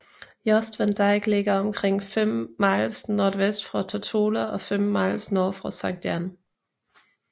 Jost Van Dyke ligger omkring 5 miles nordvest for Tortola og 5 miles nord for Sankt Jan